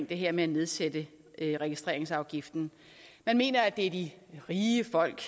det her med at nedsætte registreringsafgiften man mener at det er de rige folk